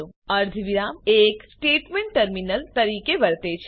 અર્ધવિરામ એક statement terminator તરીકે વર્તે છે